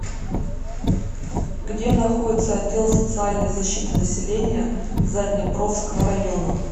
где находится отдел социальной защиты населения заднепровского района